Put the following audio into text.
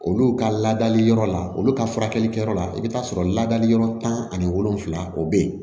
Olu ka ladali yɔrɔ la olu ka furakɛlikɛyɔrɔ la i bɛ taa sɔrɔ ladali yɔrɔ tan ani wolonfila o bɛ yen